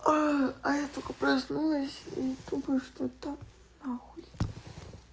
а а я только проснулась и думаю что да на хуй